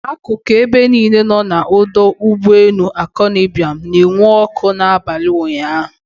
Akụkụ ebe niile nọ n'ọdọ ụgbọelu Akanu Ibiam na-enwu ọkụ n'abalị ụnyaahụ.